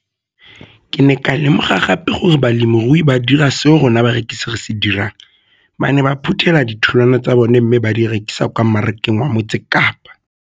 Ke ne ka lemoga gape gore balemirui ba dira seo rona barekisi re se dirang ba ne ba phuthela ditholwana tsa bona mme ba di rekisa kwa marakeng wa Motsekapa.